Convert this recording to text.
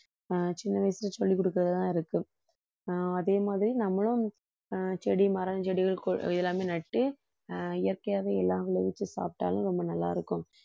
ஆஹ் சின்ன வயசுல சொல்லிக் கொடுக்கிறதுலதான் இருக்கு ஆஹ் அதே மாதிரி நம்மளும் ஆஹ் செடி மரம் செடிகள் கொ~ எல்லாமே நட்டு ஆஹ் இயற்கையாவே எல்லாம் விளைவிச்சு சாப்பிட்டாலும் ரொம்ப நல்லா இருக்கும்